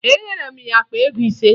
Enyere m ya akpa ego ise